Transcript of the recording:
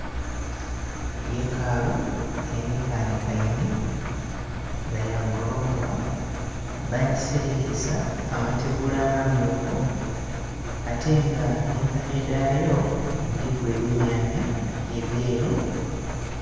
Yekakalu enheka nhekainhe, ya golofa babuserekesa amategula amamyufu ate nga empagi dhaayo, dhilimu ebimyamya ebyeru.